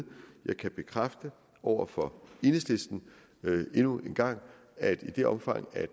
jeg kan bekræfte over for enhedslisten endnu en gang at i det omfang